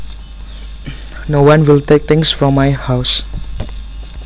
No one will take things from my house